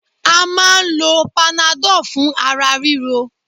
À máa lo panadol fún ara ríro.